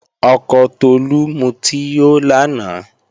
Ọkọ Tolú mutí yó lánàá